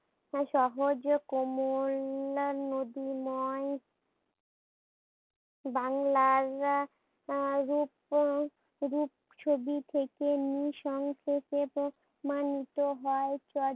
ও সহজ নদী নয় বাংলার আহ রূপ রূপ ছবি থেকে নিঃসংক্ষেপিত ধ্বনিত হয়